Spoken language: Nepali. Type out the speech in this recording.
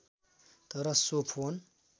तर सो फोन